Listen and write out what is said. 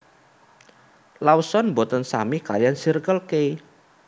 Lawson mboten sami kaliyan Circle K